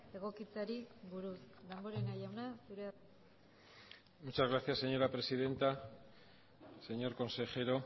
egokitzeari buruz damborenea jauna zurea da hitza muchas gracias señora presidenta señor consejero